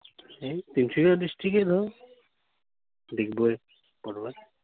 district